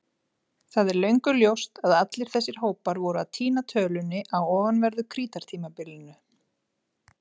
Það er löngu ljóst að allir þessir hópar voru að týna tölunni á ofanverðu Krítartímabilinu.